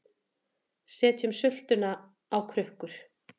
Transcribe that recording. Setjum sultuna á krukkur